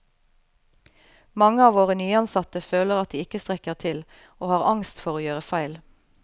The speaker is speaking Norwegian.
Mange av våre nyansatte føler at de ikke strekker til og har angst for å gjøre feil.